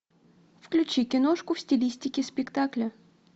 включи киношку в стилистике спектакля